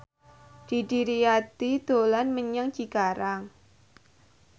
Didi Riyadi dolan menyang Cikarang